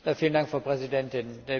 Vielen Dank Frau Präsidentin!